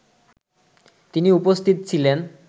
তিনি উপস্থিত ছিলেন